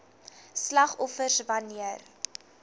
slagoffers wan neer